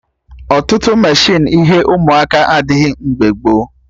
Ọtụtụ meshịnụ ihe ụmụaka adịghị mgbe gboo